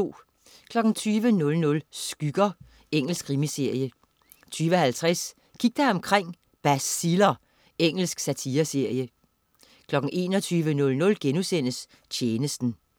20.00 Skygger. Engelsk krimiserie 20.50 Kig dig omkring: Baciller. Engelsk satireserie 21.00 Tjenesten*